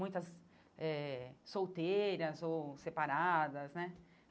Muitas eh solteiras ou separadas, né?